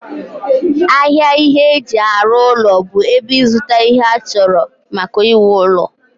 ahịa ihe eji arụ ụlọ bụ ebe ịzụta ihe achọrọ maka iwu ụlọ